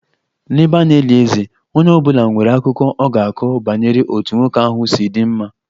N'ebe a na-eli eze, onye ọ bụla nwere akụkọ ọ ga-akọ banyere otú nwoke ahụ si dị mma